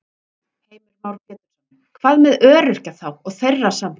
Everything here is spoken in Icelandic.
Heimir Már Pétursson: Hvað með öryrkja þá og þeirra samtök?